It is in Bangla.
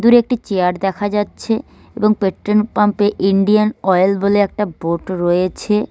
দূরে একটি চেয়ার দেখা যাচ্ছে এবং পেট্রোন পাম্পে ইন্ডিয়ান অয়েল বলে একটা বোট রয়েছে।